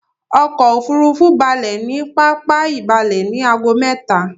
Ọkò òfurufú balẹ̀ ní pápá ìbalẹ ní ago mẹ́ta.